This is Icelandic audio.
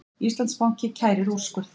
Íslandsbanki kærir úrskurð